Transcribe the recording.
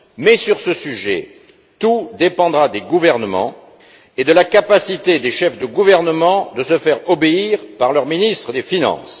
Mais, sur ce sujet, tout dépendra des gouvernements et de la capacité des chefs de gouvernement à se faire obéir par leurs ministres des finances.